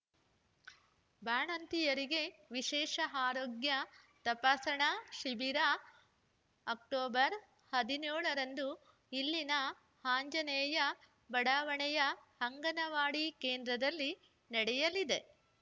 ಬಾಣಂತಿಯರಿಗೆ ವಿಶೇಷ ಆರೋಗ್ಯ ತಪಾಸಣಾ ಶಿಬಿರ ಅಕ್ಟೋಬರ್ ಹದಿನ್ಯೋಳ ರಂದು ಇಲ್ಲಿನ ಆಂಜನೇಯ ಬಡಾವಣೆಯ ಅಂಗನವಾಡಿ ಕೇಂದ್ರದಲ್ಲಿ ನಡೆಯಲಿದೆ